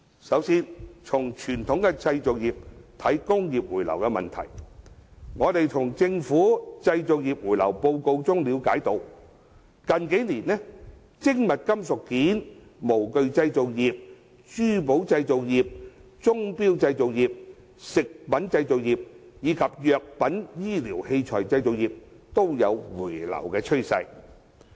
首先，從傳統的製造業來看，我們從政府製造業回流報告中了解到，近年精密金屬件及模具製造業、珠寶製造業、鐘錶製造業、食品製造業及藥品醫療器材製造業，均有回流的趨勢。